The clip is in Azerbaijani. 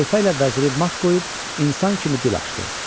Xəlifə ilə vəziri mat qoyub insan kimi dil açdı.